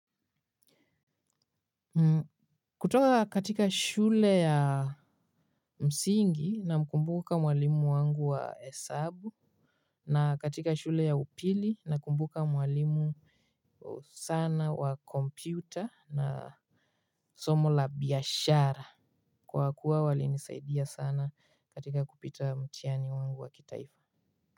Kutoka katika shule ya msingi namkumbuka mwalimu wangu wa hesabu na katika shule ya upili nakumbuka mwalimu sana wa computer na somo la biashara kwa kuwa walinisaidia sana katika kupita mtiani wangu wa kitaifa.